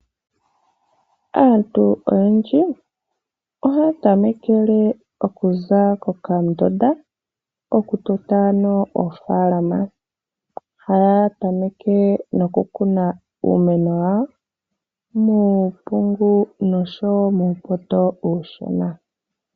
Aantu oyendji ohaya tamekele okuza kokandunda okutota oofaalama. Ohaya tameke nokukuna uumeno wawo muumpungu noshowo muupoto uushona.